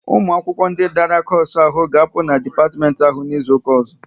Ụmụ akwụkwọ ndị dara koosu ahụ ga-apụ n'dipatimenti ahụ n'izuka ọzọ!